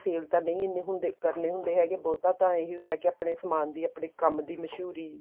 sale ਤਾਂ ਨਹੀਂ ਐਨੇ ਹੁੰਦੇ ਕਰਨੇ ਹੁੰਦੇ ਹੈਗੇ ਬਹੁਤਾ ਤਾਂ ਇਹੀ ਹੁੰਦਾ ਹੈਗਾ ਆਪਣੇ ਸਮਾਨ ਦੀ ਆਪਣੇ ਕੰਮ ਦੀ ਮ੍ਸੂਹਰੀ